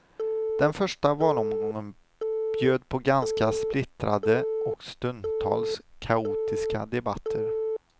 Den första valomgången bjöd på ganska splittrade och stundtals kaotiska debatter.